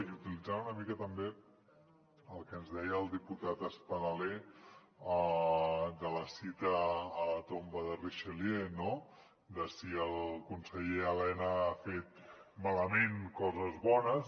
i utilitzant una mica també el que ens deia el diputat espadaler de la cita a la tomba de richelieu no de si el conseller elena ha fet malament coses bones